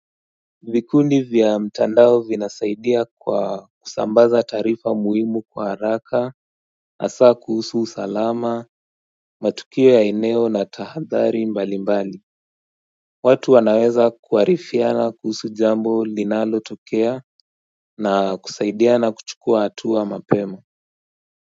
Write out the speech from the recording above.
Vikundi vya mtandao vinasaidia kwa kusambaza taarifa muhimu kwa haraka hasaa kuhusu usalama, matukio ya eneo na tahadhari mbali mbali. Watu wanaweza kuarifiana kuhusu jambo linalotokea na kusaidiana kuchukua hatua mapema.